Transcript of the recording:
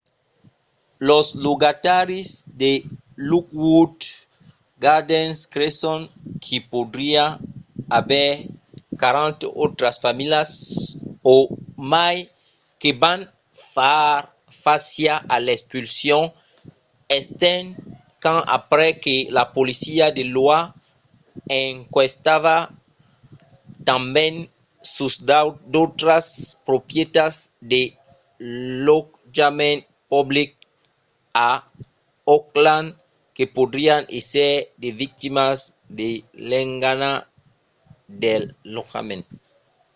los logataris de lockwood gardens creson qu'i podriá aver 40 autras familhas o mai que van far fàcia a l'expulsion estent qu'an aprés que la polícia de l'oha enquestava tanben sus d'autras proprietats de lotjament public a oakland que podrián èsser de victimas de l'engana del lotjament